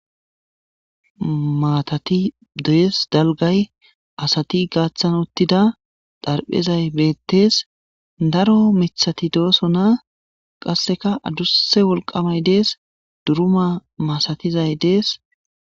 maatati doyes dalgay asati gaaththan uttida dharphezay bettees daro mithati dooso na qasseka adusse wolqamay dees duruma masatizay dees